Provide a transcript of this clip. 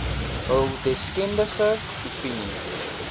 hul deskundige opinie